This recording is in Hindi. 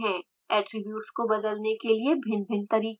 attributes को बदलने के लिए भिन्नभिन्न तरीके हैं